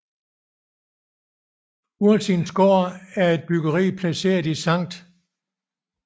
Ursins Gård er en bygning placeret i Sct